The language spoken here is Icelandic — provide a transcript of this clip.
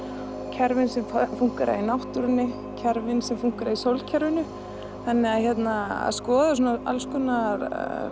kerfin sem fúnkera í náttúrunni kerfin sem fúnkera í sólkerfinu skoða alls konar